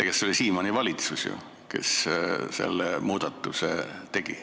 See oli Siimanni valitsus ju, kes selle muudatuse tegi.